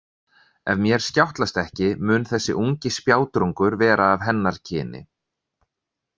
Ef mér skjátlast ekki mun þessi ungi spjátrungur vera af hennar kyni.